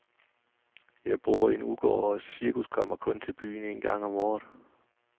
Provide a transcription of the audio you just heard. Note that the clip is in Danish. Jeg bor i en udgård, og cirkus kommer kun til byen en gang om året.